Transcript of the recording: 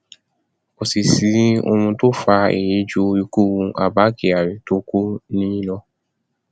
kò sì sóhun tó fa èyí ju ikú abba kyari tó kú ni lọ